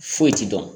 Foyi ti dɔn